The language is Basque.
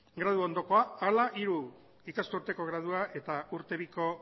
graduondokoa ala hiru ikasturteko gradua eta urte biko